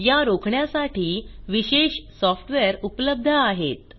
या रोखण्यासाठी विशेष सॉफ्टवेअर उपलब्ध आहेत